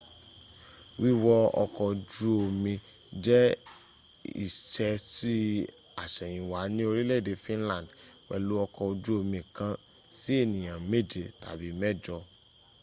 wíwọ ọkọ̀-ojú omi jẹ ìsẹẹsí àsèyìnwá ní orílè-èdè finland pèlú ọkọ̀-ojú omi kan si ènìyàn mẹjẹ tàbí mẹjọ